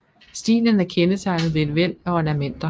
Stilen er kendetegnet ved et væld af ornamenter